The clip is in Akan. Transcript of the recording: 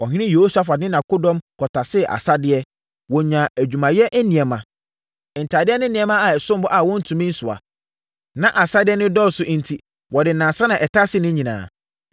Ɔhene Yehosafat ne nʼakodɔm kɔtasee asadeɛ. Wɔnyaa adwumayɛ nneɛma, ntadeɛ ne nneɛma a ɛsom bo a wɔntumi nsoa. Na asadeɛ no dɔɔso enti wɔde nnansa na ɛtasee ne nyinaa.